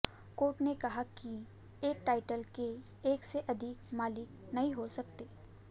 court ने कहा कि एक टाइटल के एक से अधिक मालिक नहीं हो सकते